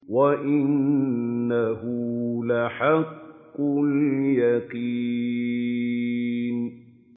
وَإِنَّهُ لَحَقُّ الْيَقِينِ